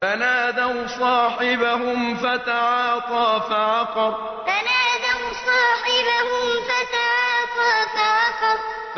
فَنَادَوْا صَاحِبَهُمْ فَتَعَاطَىٰ فَعَقَرَ فَنَادَوْا صَاحِبَهُمْ فَتَعَاطَىٰ فَعَقَرَ